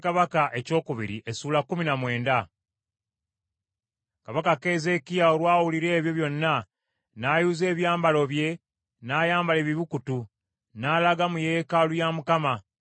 Kabaka Keezeekiya olwawulira ebyo byonna, n’ayuza ebyambalo bye, n’ayambala ebibukutu, n’alaga mu yeekaalu ya Mukama .